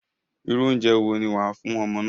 Irú oúnjẹ wo ni wàá fún ọmọ náà?